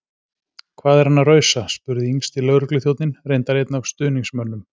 Hvað er hann að rausa? spurði yngsti lögregluþjónninn- reyndar einn af stuðningsmönnum